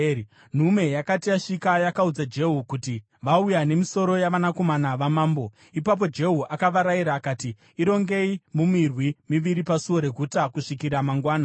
Nhume yakati yasvika, yakaudza Jehu kuti, “Vauya nemisoro yavanakomana vamambo.” Ipapo Jehu akavarayira akati, “Irongei mumirwi miviri pasuo reguta kusvikira mangwana.”